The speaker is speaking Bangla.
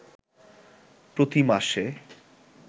প্রতি মাসে